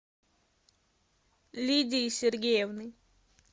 лидии сергеевны